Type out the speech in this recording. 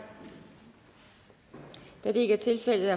da det ikke er tilfældet